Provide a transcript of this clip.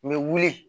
U bɛ wuli